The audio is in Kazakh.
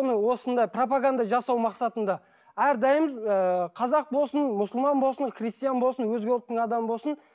оның осында пропоганда жасау мақсатында әрдайым ыыы қазақ болсын мұсылман болсын христиан болсын өзге ұлттың адамы болсын